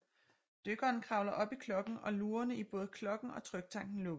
Dykkeren kravler op i klokken og lugerne i både klokken og tryktanken lukkes